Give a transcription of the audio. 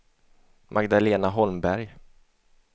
Magdalena Holmberg